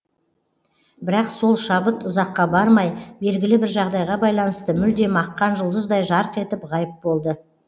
бірақ сол шабыт ұзаққа бармай белгілі бір жағдайға байланысты мүлдем аққан жұлдыздай жарқ етіп ғайып болды